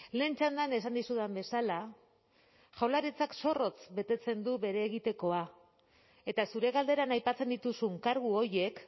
lehen txandan esan dizudan bezala jaurlaritzak zorrotz betetzen du bere egitekoa eta zure galderan aipatzen dituzun kargu horiek